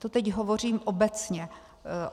To teď hovořím obecně.